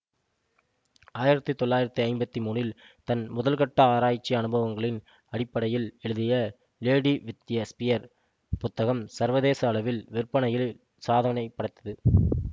ஆயிரத்தி தொள்ளாயிரத்தி ஐம்பத்தி மூனில் தன் முதல்கட்ட ஆராய்ச்சி அனுபவங்களின் அடிப்படையில் எழுதிய லேடி வித் எ ஸ்பியர் புத்தகம் சர்வதேச அளவில் விற்பனையில் சாதனைபடைத்து